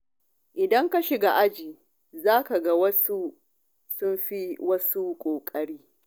Idan ka shiga aji, za ka ga wasu sun fi wasu ƙoƙari.